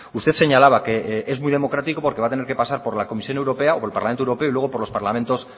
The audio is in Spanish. usted señalaba que es muy democrático porque va a tener que pasar por la comisión europea o por el parlamento europeo y luego por los parlamentos